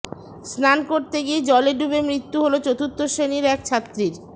স্নান করতে গিয়ে জলে ডুবে মৃত্যু হল চতুর্থ শ্রেণির এক ছাত্রীর